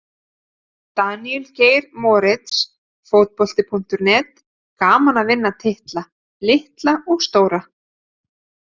Daníel Geir Moritz, Fótbolti.net: Gaman að vinna titla, litla og stóra.